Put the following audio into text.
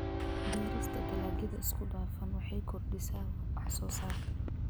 Beerista dalagyada isku dhafan waxay kordhisaa wax-soo-saarka.